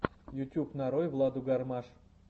ютюб нарой владу гармаш